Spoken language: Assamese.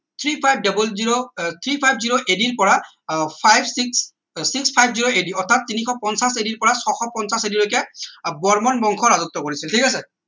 three five double zero আহ three five zero ad পৰা আহ five six six fifty ad অৰ্থাৎ তিনিশ পঞ্চাছ ad পৰা ছশ পঞ্চাছ ad ৰ লৈকে বৰ্মন বংশ ৰাজত্ব কৰিছিল ঠিক আছে